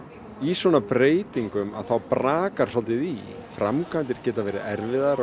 í svona breytingum þá brakar svolítið í framkvæmdir geta verið erfiðar á